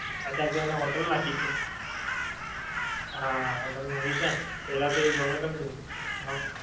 અત્યારે તો એને hotel નાખી છે હા hotel નાખી છે ને પેલા તો એ zomato મા જતી હા